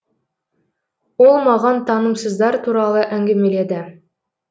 ол маған тынымсыздар туралы әңгімеледі